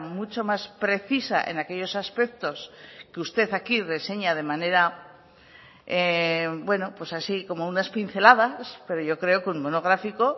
mucho más precisa en aquellos aspectos que usted aquí reseña de manera bueno pues así como unas pinceladas pero yo creo que un monográfico